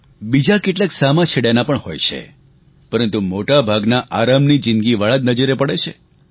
બીજા કેટલાક સામા છેડાના પણ હોય છે પરંતુ મોટાભાગના આરામની જીંદગીવાળા જ નજરે પડે છે